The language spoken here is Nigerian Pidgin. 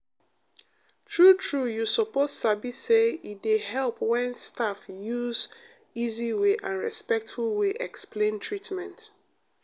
true true you suppose sabi say e dey help when staff use easy way and respectful way explain treatment.